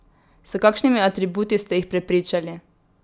S kakšnimi atributi ste jih prepričali?